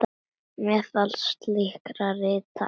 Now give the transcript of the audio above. Meðal slíkra rita er